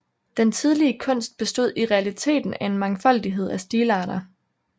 Den tidlige kunst bestod i realiteten af en mangfoldighed af stilarter